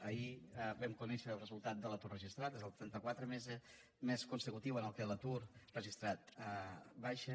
ahir vam conèixer el resultat de l’atur registrat és el trenta quatrè mes consecutiu en què l’atur registrat baixa